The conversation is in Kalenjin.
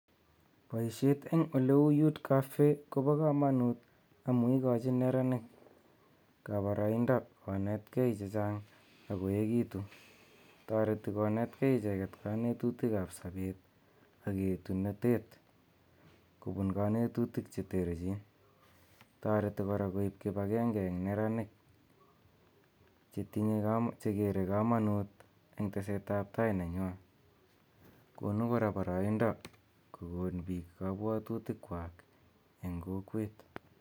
Boisiet en eleu youth Kobo komonuut en yeikoojin nyeraniik boroindo konetkee chejaang ok koeekiitun toreti konetkee ijeeken konetutiikab sobeet ok yetunotet kobuun konetutiik cheterjiin toretii korak koib kibageenge en nyeraniik jekeree komonuut en teseet ab tai nenywaan konuu koraak boroindoo kokoon biik kobwotutiikjwaag en kokweet